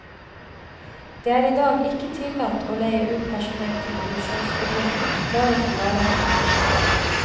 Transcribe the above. Det er i dag ikke tillatt å leie ut personell til produksjonsbedrifter, bare til varehandelen.